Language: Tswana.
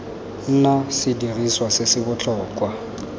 nna sediriswa se se botlhokwa